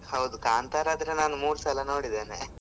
ಹೌದು ಕಾಂತಾರ ಆದ್ರೆ ನಾನ್ ಮೂರು ಸಲ ನೋಡಿದೇನೆ .